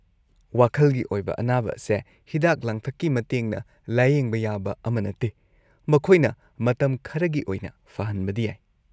ꯋꯥꯈꯜꯒꯤ ꯑꯣꯏꯕ ꯑꯅꯥꯕ ꯑꯁꯦ ꯍꯤꯗꯥꯛ-ꯂꯥꯡꯊꯛꯀꯤ ꯃꯇꯦꯡꯅ ꯂꯥꯌꯦꯡꯕ ꯌꯥꯕ ꯑꯃ ꯅꯠꯇꯦ, ꯃꯈꯣꯏꯅ ꯃꯇꯝ ꯈꯔꯒꯤ ꯑꯣꯏꯅ ꯐꯍꯟꯕꯗꯤ ꯌꯥꯏ ꯫